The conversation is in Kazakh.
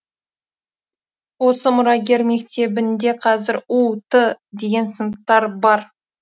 осы мұрагер мектебінде қазір у т деген сыныптар бар